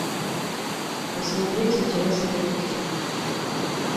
посмотреть интересный детектив